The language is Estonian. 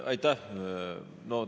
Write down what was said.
Aitäh!